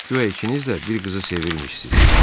Guya ikiniz də bir qızı sevirmişsiz.